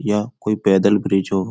या कोई पैदल ब्रिज हो।